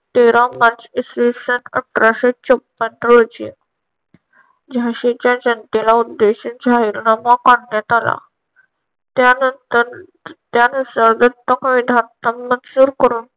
तेरा मार्च इसवीसन अठराशे छप्पन रोजी झाशीच्या जनतेला उद्देशून जाहीरनामा काढण्यात आला. त्यानंतर त्यानुसार व्यस्त मंजूर करून